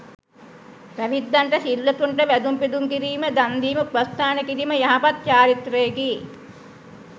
පැවිද්දන්ට, සිල්වතුන්ට, වැඳුම් පිදුම් කිරීම, දන් දීම, උපස්ථාන කිරීම යහපත් චාරිත්‍රයකි.